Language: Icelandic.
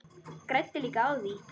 Græddi líka á því.